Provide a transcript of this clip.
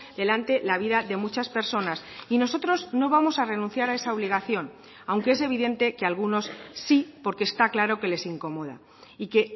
delante la vida de muchas personas y nosotros no vamos a renunciar a esa obligación aunque es evidente que algunos sí porque está claro que les incomoda y que